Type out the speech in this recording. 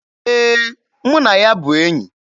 Ee, mụ na ya bụ enyi.